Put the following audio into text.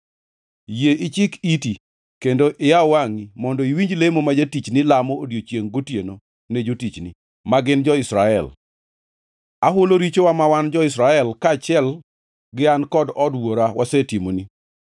Yie ichik iti kendo iyaw wangʼi mondo iwinj lemo ma jatichni lamo odiechiengʼ gotieno ne jotichni, ma gin jo-Israel. Ahulo richowa ma wan jo-Israel, kaachiel gi an kod od wuora wasetimoni;